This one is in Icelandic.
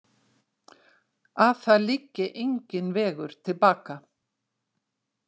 Að það liggi enginn vegur til baka.